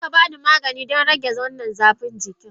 Za ka ba ni magani don rage wannan zafin jiki?